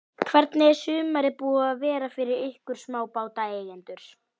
Hvernig er sumarið búið að vera fyrir ykkur smábátaeigendur?